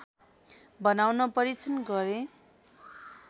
बनाउन परीक्षण गरे